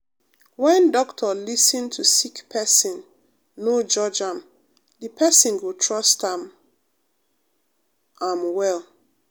when doctor lis ten to sick pesin no judge am de pesin go trust am am well.